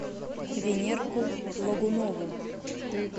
венерку логунову